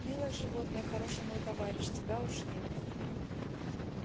милое животное хороший мой товарищ тебя уж нет